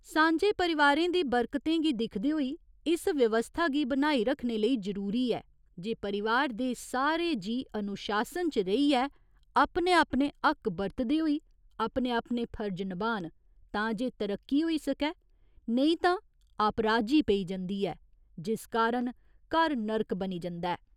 सांझे परिवारें दी बरकतें गी दिखदे होई इस व्यवस्था गी बनाई रक्खने लेई जरूरी ऐ जे परिवार दे सारे जीऽ अनुशासन च रेहियै अपने अपने हक्क बतरदे होई अपने अपने फर्ज नभान तां जे तरक्की होई सकै, नेईं तां आपराजी पेई जंदी ऐ, जिस कारण घर नरक बनी जंदा ऐ।